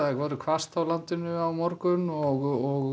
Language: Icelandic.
verður hvasst á morgun og